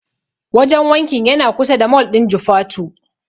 Wajen wankin yana kusa da mol ɗin Jufatu.